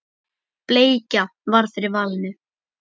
Bleikja varð fyrir valinu.